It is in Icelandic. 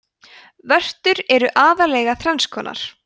vörtur eru aðallega þrenns konar